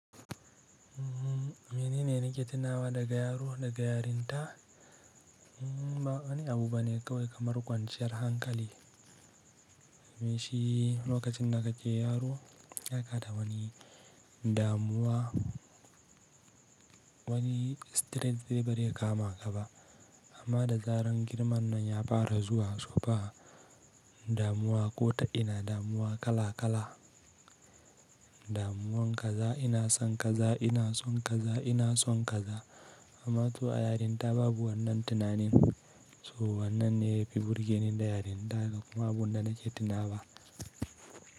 Mene ne nake tunawa daga yaro da yarinta? Bawani abu bane kawai kamar kwanciyar hankali me shi lokacin da kake yaro ba kada wani damuwa, wani stress ba zai kama ka ba amma da zarar girman nan ya fara zuwa, tsufa, damuwa ko ta ina damuwa kala kala, damuwan kaza ina son kaza ina son kaza ina son kaza amma to a yarinta babu wannan tunanin, so wannan ne yafi burgenin da yarinta da kuma wanda nake tunawa.